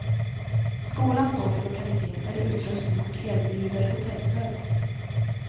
Skolan står för lokaliteter, utrustning och erbjuder hotellservice.